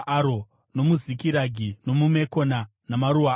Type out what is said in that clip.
nomuZikiragi, nomuMekona namaruwa aro,